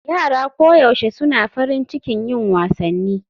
Yara koyaushe suna farin cikin yin wasanni